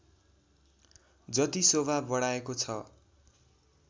जति शोभा बढाएको छ